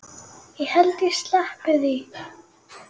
Ég held ég sleppi því.